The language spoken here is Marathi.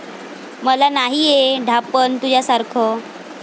मला नाहीये ढापण तुझ्यासारखं.